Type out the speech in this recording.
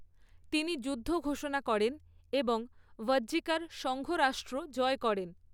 তিনি যুদ্ধ ঘোষণা করেন এবং ভাজ্জিকার সঙ্ঘরাষ্ট্র জয় করেন।